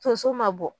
Tonso ma bɔ